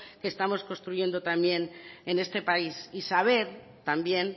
que estamos construyendo también en este país y saber también